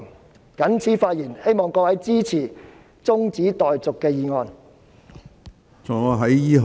我謹此陳辭，希望各位支持中止待續議案。